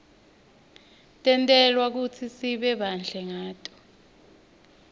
tentelwe kutsi sibe bahle ngato